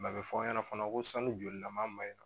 a bɛ fɔ aw ɲɛna fana ko sanu jolilama in na